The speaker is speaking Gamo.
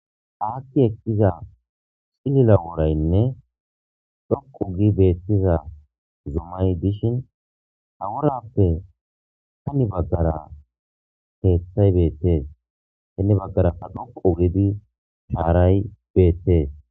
Aki ekiza c'lilo worayne dhoqu gidi betiza zumay dishin aworape hini bagara kethay betes hini bagaraka dhoqu gidi sharay betes.